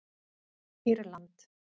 Írland